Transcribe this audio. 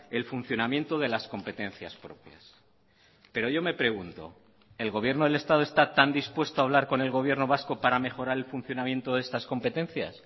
el funcionamiento de las competencias propias pero yo me pregunto el gobierno del estado está tan dispuesto a hablar con el gobierno vasco para mejorar el funcionamiento de estas competencias